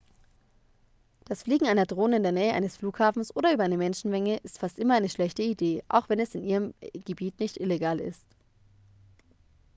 das fliegen einer drone in der nähe eines flughafens oder über einer menschenmenge ist fast immer eine schlechte idee auch wenn es in ihrem gebiet nicht illegal ist